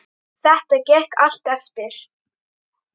Þetta gekk allt eftir.